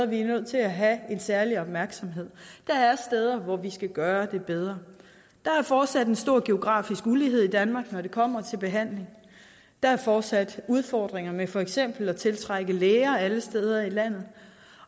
vi er nødt til at have en særlig opmærksomhed der er steder hvor vi skal gøre det bedre der er fortsat en stor geografisk ulighed i danmark når det kommer til behandling der er fortsat udfordringer med for eksempel at tiltrække læger alle steder i landet